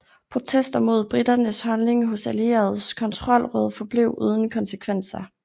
Protester mod briternes holdning hos allieredes kontrollråd forblev uden konsekvenser